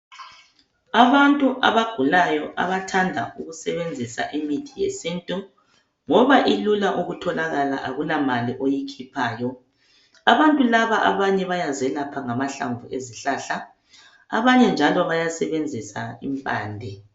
Abantu abagulayo bayathanda ukusebenzisa imithi yesintu ngoba ilula ukutholakala akulamali oyikhiphayo. Abantu laba abanye bayazelapha ngamahlamvu ezihlahla abanye njalo bayasebenzisa impande.